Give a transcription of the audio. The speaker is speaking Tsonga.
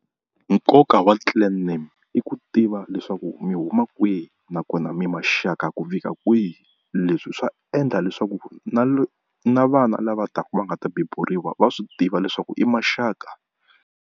Noka wa clan name i ku tiva leswaku mi huma kwihi nakona mi maxaka ku fika kwihi leswi swa endla leswaku na na na vana lava taka va nga ta beburiwa va swi tiva leswaku i maxaka.